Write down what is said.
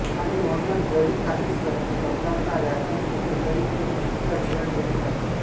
आणि म्हणूनच जरी काही सर्च करताना व्याकरण चुकले तरी तो चुकीचा रिजल्ट देत नाही